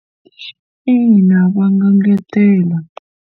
Ina, va nga engetela.